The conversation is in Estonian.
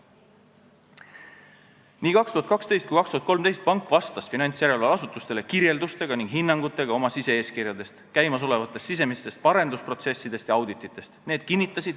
Nii 2012 kui 2013 vastas pank finantsjärelevalveasutustele oma sise-eeskirja, käimasolevate sisemiste parendusprotsesside ja auditite kirjelduste ja hinnangutega.